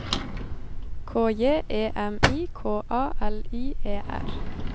K J E M I K A L I E R